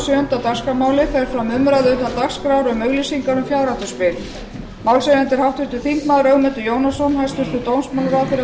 sjöunda dagskrármálið fer fram umræða utan dagskrár um auglýsingar um fjárhættuspil málshefjandi er háttvirtur þingmaður ögmundur jónasson hæstvirtur dómsmálaráðherra verður